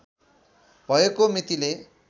भएको मितिले